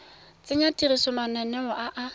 tsenya tirisong mananeo a a